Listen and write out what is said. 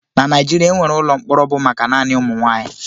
Na Naijiria, enwere ụlọ mkpọrọ bụ maka naanị ụmụ nwaanyị.